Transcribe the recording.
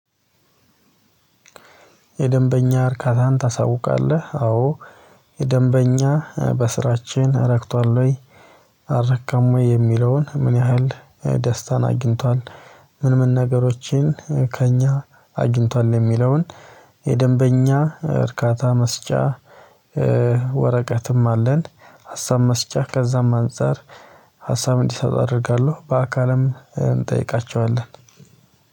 "የደንበኛ እርካታን ታሳውቃለህ?" አዎ። የደንበኛ በስራችን ረክቷል ወይ? አረካም ወይ? የሚለውን ምን ያህል ደስታን አግኝቷል? ምን ምን ነገሮችን ከእኛ አግኝቷል የሚለውን የደንበኛ እርካታ መስጫ ወረቀትም አለን። ሀሳብ መስጫ፤ ከዛም አንፃር ሀሳብ እንዲሰጥ አደርጋለሁ። በአካልም እንጠይቃቸዋለን።